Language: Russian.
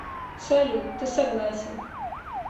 салют ты согласен